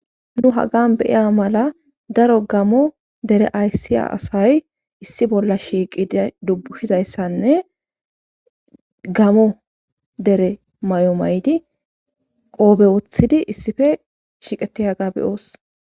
nu hagan beyiya mala daro gamo dere ayssiya asay issi bolla shiiqida dubbushizayssanne gamo dere may7o maydi qoobewothidi issife shiiqetiyaga beyoos